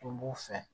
Tun b'u fɛ